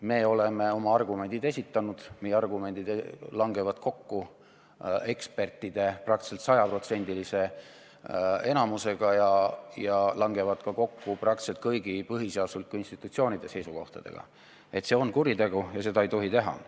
Me oleme oma argumendid esitanud, meie argumendid langevad kokku ekspertide praktiliselt 100%-lise arvamusega ja langevad kokku ka praktiliselt kõigi põhiseaduslike institutsioonide seisukohtadega, et see on kuritegu ja seda ei tohi teha.